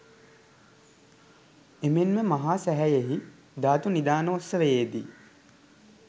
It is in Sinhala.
එමෙන්ම මහා සෑයෙහි ධාතු නිධානෝත්සවයේදී